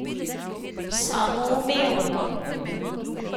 Samoumevno!